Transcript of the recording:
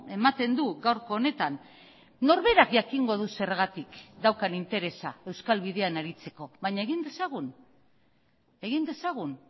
ematen du gaurko honetan norberak jakingo du zergatik daukan interesa euskal bidean aritzeko baina egin dezagun egin dezagun